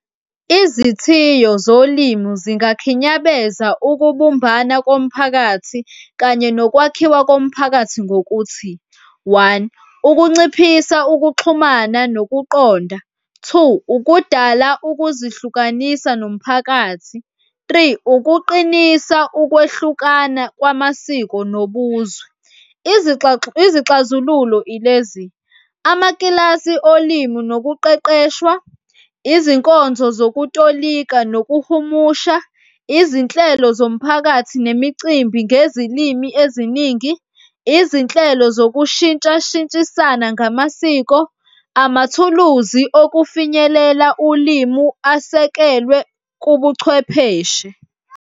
Izithiyo zolimo zingakhinyabeza ukubumbana komphakathi kanye nokwakhiwa komphakathi ngokuthi one, ukunciphisa ukuxhumana nokuqonda. Two, ukudala ukuzihlukanisa nomphakathi. Three, ukuqinisa ukwehlukana kwamasiko nobuzwe. Izixazululo ilezi, amakilasi olimi nokuqeqeshwa, izinkonzo zokutolika nokuhumusha, izinhlelo zomphakathi nemicimbi ngezilimi eziningi, izinhlelo zokushintshishintshana ngamasiko, amathuluzi okufinyelela ulimi asekelwe kubuchwepheshe.